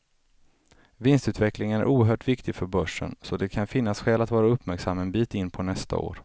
Vinstutvecklingen är oerhört viktig för börsen, så det kan finnas skäl att vara uppmärksam en bit in på nästa år.